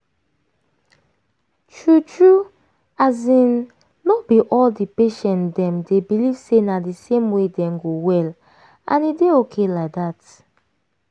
true true as in no be all di patient dem dey believe say na di same way dem go well and e dey okay like dat.